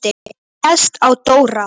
Hann réðst á Dóra.